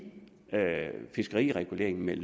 fiskerireguleringen med